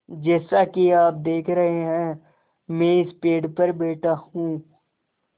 जैसा कि आप देख रहे हैं मैं इस पेड़ पर बैठा हूँ